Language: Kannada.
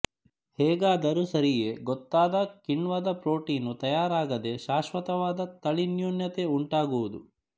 ಹೇಗಾದರೂ ಸರಿಯೆ ಗೊತ್ತಾದ ಕಿಣ್ವದ ಪ್ರೊಟೀನು ತಯಾರಾಗದೆ ಶಾಶ್ವತವಾದ ತಳಿನ್ಯೂನತೆ ಉಂಟಾಗುವುದು